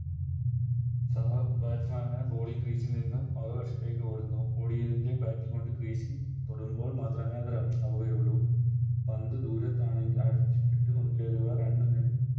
സഹ Batsman മാർ Ball ൽ Crease ൽ നിന്നും മറുവശത്തേക്ക് ഓടുന്നു ഓടിയെങ്കിൽ Bat കൊണ്ട് Crease ൽ തൊടുമ്പോൾ മാത്രമേ അത് Run ആവുകയുള്ളൂ പന്ത് ദൂരത്താണെങ്കിൽ